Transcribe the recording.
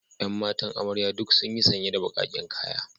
Yan matan amarya duk sunyi sanye da bakaken kaya.